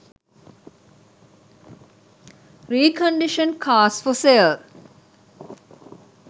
recondition cars for sale